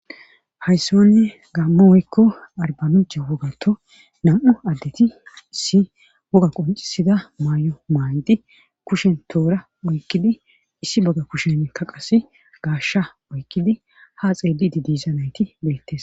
hayssan gammo woykko arbanuche wogato nam7u addeti issi woga qoncisida may7o maaydi kushen toora oykkidi issi bogga kusheka qase gaashsha oykkidi ha xeelidi diiza nayti beettes.